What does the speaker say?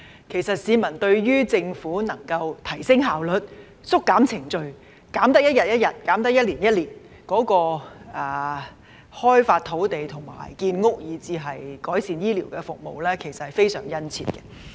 其實市民對於政府能夠提升效率、縮減程序——能縮減一天便一天，能縮減一年便一年——開發土地、建屋，以至改善醫療服務的期望均非常殷切。